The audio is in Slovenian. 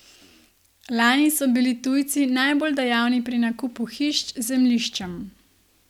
Lani so bili tujci najbolj dejavni pri nakupu hiš z zemljiščem.